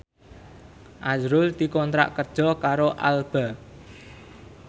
azrul dikontrak kerja karo Alba